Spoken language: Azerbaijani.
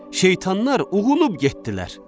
Şeytanlar uğulub getdilər.